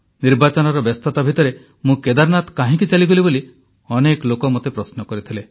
ନିର୍ବାଚନର ବ୍ୟସ୍ତତା ଭିତରେ ମୁଁ କେଦାରନାଥ କାହିଁକି ଚାଲିଗଲି ବୋଲି ଅନେକ ଲୋକ ମୋତେ ପ୍ରଶ୍ନ କରିଥିଲେ